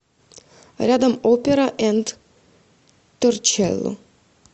рядом опера энд торчелло